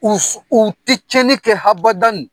U ti tiɲɛnni kɛ habadane.